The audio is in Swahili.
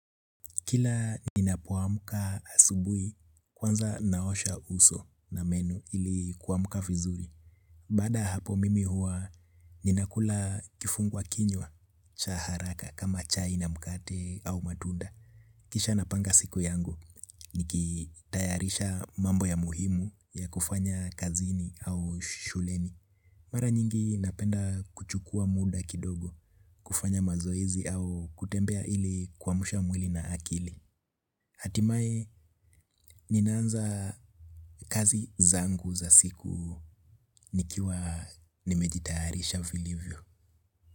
Kila ninapoamka asubuhi kwanza naosha uso na meno ili kuamka vizuri. Baada ya hapo mimi huwa ninakula kifungua kinywa cha haraka kama chai na mkate au matunda. Kisha napanga siku yangu nikitayarisha mambo ya muhimu ya kufanya kazini au shuleni. Mara nyingi napenda kuchukua muda kidogo kufanya mazoezi au kutembea ili kuamsha mwili na akili hatimaye ninaanza kazi zangu za siku nikiwa nimejitayatisha vilivyo.